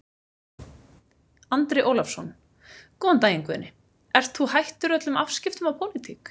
Andri Ólafsson: Góðan daginn Guðni, ert þú hættur öllum afskiptum af pólitík?